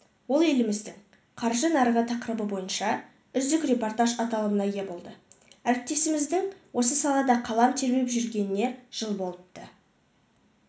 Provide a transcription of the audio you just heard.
ол еліміздің қаржы нарығы тақырыбы бойынша үздік репортаж аталымына ие болды әріптесіміздің осы салада қалам тербеп жүргеніне жыл болыпты